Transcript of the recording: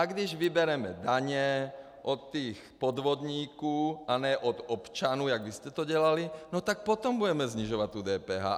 A když vybereme daně od těch podvodníků a ne od občanů, jak vy jste to dělali, no tak potom budeme snižovat tu DPH.